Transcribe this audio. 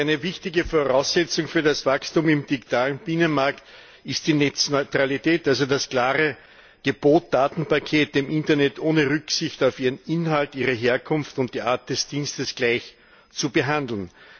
Eine wichtige Voraussetzung für das Wachstum im digitalen Binnenmarkt ist die Netzneutralität, also das klare Gebot, Datenpakete im Internet ohne Rücksicht auf ihren Inhalt, ihre Herkunft und die Art des Dienstes gleich zu behandeln.